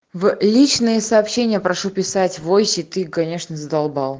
в личные сообщения прошу писать войсе ты конечно задолбал